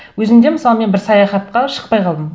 өзім де мысалы мен бір саяхатқа шықпай қалдым